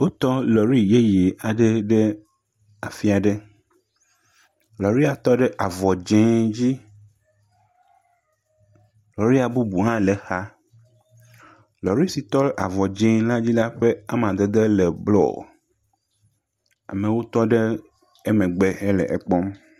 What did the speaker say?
Wotɔ lɔri yeye aɖe ɖe afi aɖe lɔria tɔ ɖe avɔ dzɛ̃ dzi, lɔria bubu le exa, lɔri si tɔ ɖe avɔ dzɛ̃a dzi la ƒe amadede le blɔɔ amewo tɔ ɖe emegbe le ekpɔm